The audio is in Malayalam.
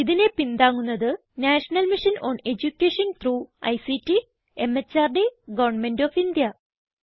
ഇതിനെ പിന്താങ്ങുന്നത് National Mission on Education through ICT MHRD Government of India